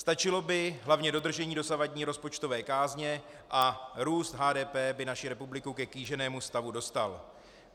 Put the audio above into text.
Stačilo by hlavně dodržení dosavadní rozpočtové kázně a růst HDP by naši republiku ke kýženému stavu dostal.